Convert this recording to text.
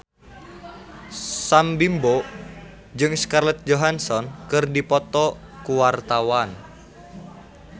Sam Bimbo jeung Scarlett Johansson keur dipoto ku wartawan